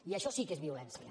i això sí que és violència